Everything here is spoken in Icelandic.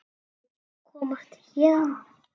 Vill komast héðan.